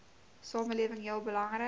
samelewing heel belangrik